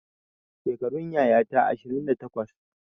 Shekarun yayata ashirin da takwas